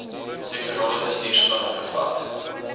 sektorale bestuursplanne bevat